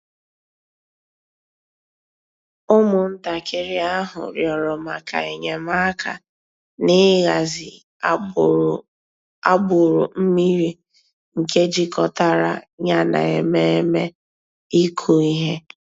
Ụ́mụ̀ntàkìrì àhụ̀ rị̀ọrọ̀ mǎká enyèmàkà n'ị̀hàzì àgbùrù mmìrì nke jìkọ̀tàrà yà nà emèmé́ ị̀kụ̀ íhè.